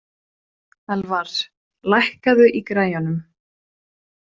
Elfar, lækkaðu í græjunum.